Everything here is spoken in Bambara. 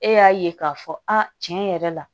E y'a ye k'a fɔ a tiɲɛ yɛrɛ la